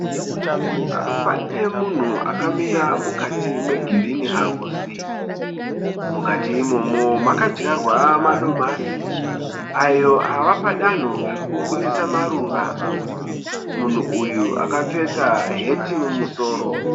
Pane munhu akamira mukati me girinhi house. Mukati imomo makadyarwa madomasi ayo ava padanho rekuburitsa maruva. Munhu uyu akapfeka heti mumusoro.